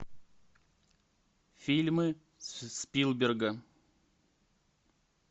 фильмы спилберга